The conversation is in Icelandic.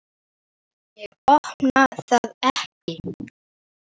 Ég opna það ekki.